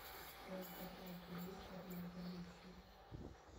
в твоем каталоге есть однажды ночью